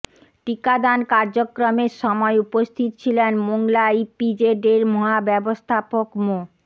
টিকাদান কার্যক্রমের সময় উপস্থিত ছিলেন মোংলা ইপিজেডের মহাব্যবস্থাপক মো